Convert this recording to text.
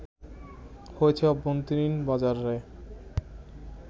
হয়েছে অভ্যন্তরীণ বাজারে